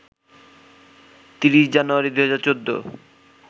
৩০ January, ২০১৪